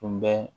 Tun bɛ